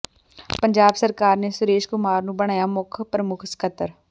ਪੰਜਾਬ ਸਰਕਾਰ ਨੇ ਸੁਰੇਸ਼ ਕੁਮਾਰ ਨੂੰ ਬਣਾਇਆ ਮੁੱਖ ਪ੍ਰਮੁੱਖ ਸਕੱਤਰ